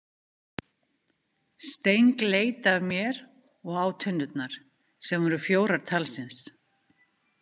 Steng leit af mér og á tunnurnar, sem voru fjórar talsins.